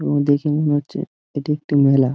উম দেখে মনে হচ্ছে এটি একটি মেলা।